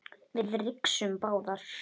Við rigsum báðar.